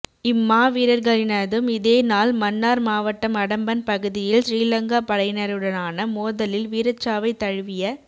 இம்மாவீரர்களினதும் இதேநாள் மன்னார் மாவட்டம் அடம்பன் பகுதியில் சிறிலங்கா படையினருடனான மோதலில் வீரச்சாவைத் தழுவிய